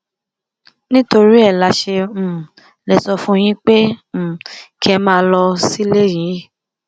nítorí ẹ la ṣe um lè sọ fún yín pé um kẹ ẹ máa lọ sílé yín